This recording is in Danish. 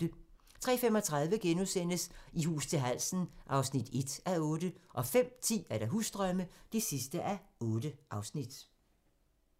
03:35: I hus til halsen (1:8)* 05:10: Husdrømme (8:8)